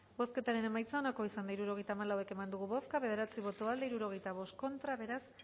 bozketaren emaitza onako izan da hirurogeita hamalau eman dugu bozka bederatzi boto aldekoa sesenta y cinco contra beraz